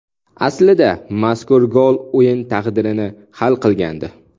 Aslida mazkur gol o‘yin taqdirini hal qilgandi.